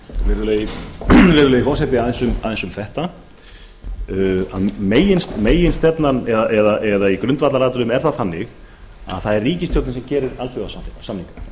virðulegi forseti aðeins um þetta meginstefnan eða í grundvallaratriðum er það þannig að það er ríkisstjórnin sem gerir alþjóðasamninga